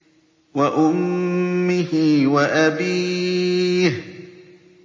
وَأُمِّهِ وَأَبِيهِ